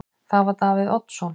Það var Davíð Oddsson.